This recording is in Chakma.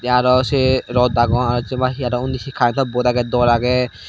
te aro se rot agone aro jiye pai he aro ondi karento bot agey dor agey.